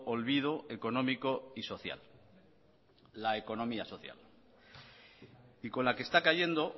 olvido económico y social la economía social y con la que está cayendo